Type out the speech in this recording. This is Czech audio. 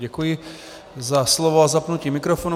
Děkuji za slovo a zapnutí mikrofonu.